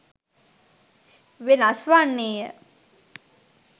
වෙනස් වන්නේය.